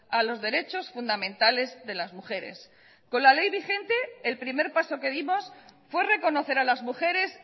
a los derechos fundamentales de las mujeres con la ley vigente el primer paso que dimos fue reconocer a las mujeres